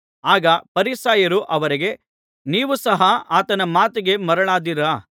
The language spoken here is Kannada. ಆಗ ಫರಿಸಾಯರು ಅವರಿಗೆ ನೀವೂ ಸಹ ಆತನ ಮಾತಿಗೆ ಮರುಳಾದೀರಾ